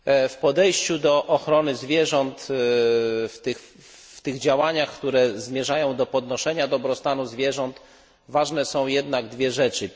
W podejściu do ochrony zwierząt, w tych działaniach, które zmierzają do podnoszenia dobrostanu zwierząt, ważne są jednak dwie rzeczy.